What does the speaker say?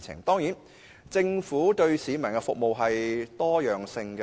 當然，政府為市民提供的服務是多樣化的。